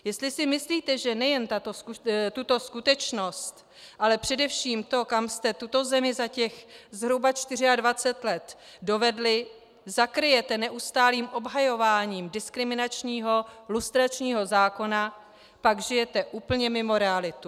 Jestli si myslíte, že nejen tuto skutečnost, ale především to, kam jste tuto zemi za těch zhruba 24 let dovedli, zakryjete neustálým obhajováním diskriminačního lustračního zákona, pak žijete úplně mimo realitu.